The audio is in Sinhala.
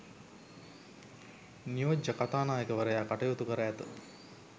නියෝජ්‍ය කතානායකවරයා කටයුතු කර ඇත.